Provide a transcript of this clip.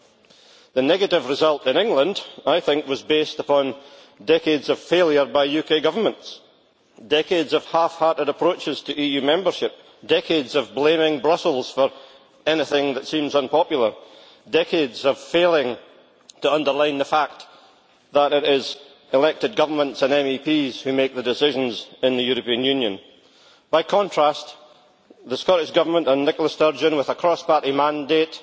I think that the negative result in England was based on decades of failure by UK governments, decades of half-hearted approaches to EU membership, decades of blaming Brussels for anything that seems unpopular, and decades of failing to underline the fact that it is elected governments and MEPs who make the decisions in the European Union. By contrast, the Scottish Government and Nicola Sturgeon, with a cross party mandate,